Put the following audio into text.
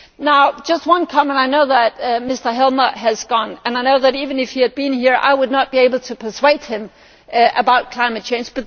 Now, just one comment I know that Mr Helmer has gone and I know that, even if he had been here, I would not be able to persuade him about climate change.